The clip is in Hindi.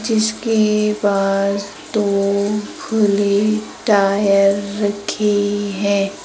जिसके पास दो खुले टायर रखे हैं।